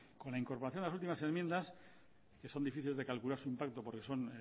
con la incorporación de las últimas enmiendas que son difíciles de calcular su impacto porque son